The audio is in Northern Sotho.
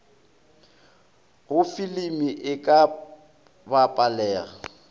go filimi e ka bapalega